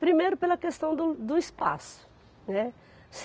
Primeiro, pela questão do do espaço, né.